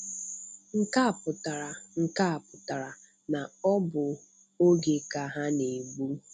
Nke a pụtara Nke a pụtara na ọ bụ oge ka ha na-egbụ.'